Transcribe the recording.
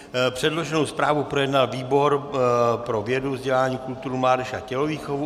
Předloženou zprávu projednal výbor pro vědu, vzdělání, kulturu, mládež a tělovýchovu.